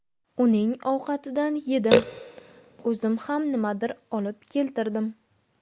Uning ovqatidan yedim, o‘zim ham nimadir olib keltirdim.